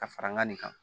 Ka fara ŋa nin kan